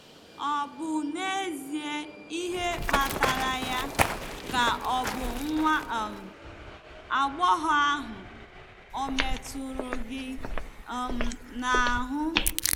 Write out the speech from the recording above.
"Ọ̀ bụ n'ezie ihe kpatara ya, ka ọ̀ bụ nwa um agbọghọ ahụ ọ̀ metụrụ gị um n'ahụ?"